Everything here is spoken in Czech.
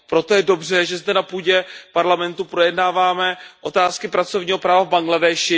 Proto je dobře, že zde na půdě Parlamentu projednáváme otázky pracovního práva v Bangladéši.